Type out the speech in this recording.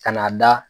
Ka n'a da